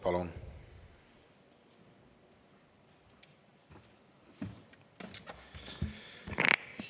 Palun!